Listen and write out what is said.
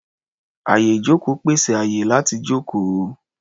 Àyè-ìjókòó pèsè àyè láti jókòó.